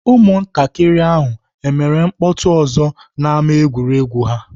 Ụmụntakịrị ahụ emere mkpọtụ ọzọ n'ámá egwuregwu ha?